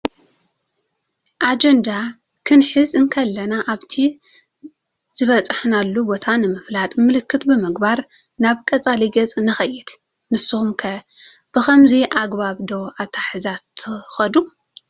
አጀንዳ ክንሕዝ ንእከለና ኣብቲ ዝበፅሓናሉ ቦታ ንምፍላጥ ምልክት ብምግባር ናብ ቀፃሊ ገፅ ንከይድ። ንስኹም ኸ ብከምዚ አገባብ ዶ ኣትሓሕዛ ትኾዱ?